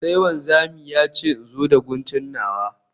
Sai wanzami ya ce in zo da guntu nawa